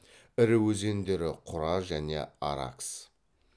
ірі өзендері құра және аракс